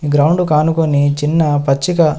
ఈ గ్రౌండుకి ఆనుకొని చిన్న పచ్చిక--